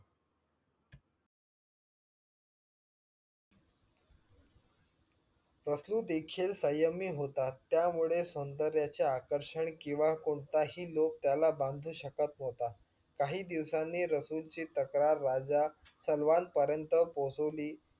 रसलू देखील सय्यमी होता. त्यामुळे सौंदर्याच्या आकर्षण किंवा कोणताही लोभ त्याला बांधू शकत न्हवता काही दिवसाने रसूल ची तक्रार राजा सलवान पर्यन्त पोहचवली.